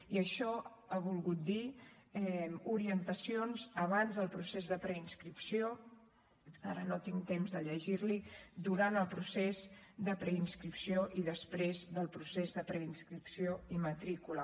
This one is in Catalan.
i això ha volgut dir orientacions abans del procés de preinscripció ara no tinc temps de llegir l’hi durant el procés de preinscripció i després del procés de preinscripció i matrícula